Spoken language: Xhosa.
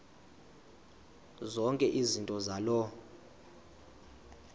zonke izinto zaloo